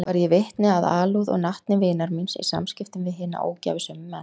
Varð ég vitni að alúð og natni vinar míns í samskiptum við hina ógæfusömu menn.